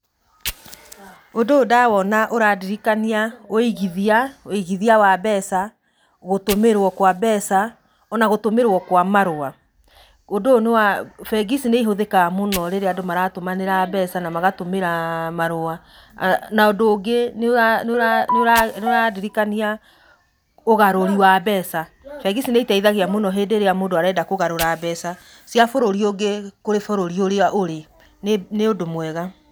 Ũndũ ũyũ ndawona ũrandirikania ũigithia, ũigithia wa mbeca, gũtũmĩrwo kwa mbeca, na gũtũmĩrwo kwa marũa. Ũndũ ũyũ nĩ wa, bengi ici nĩ ihũthikaga mũno rĩrĩa andũ maratũmanĩra mbeca na magatũmanĩra marua. Na ũndũ ũngĩ nĩũrandirikania ũgarũri wa mbeca. Bengi ici nĩ iteithagia mũno hĩndĩ ĩrĩa mũndũ areda kũgarũra mbeca cia bũrũri ũngĩ kũrĩ bũrũri ũrĩa ũrĩ nĩũndũ mwega.